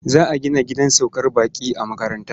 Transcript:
Za a gina gidan saukar baƙi a makaranta.